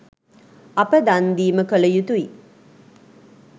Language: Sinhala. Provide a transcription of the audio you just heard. අප දන් දීම කළ යුතුයි.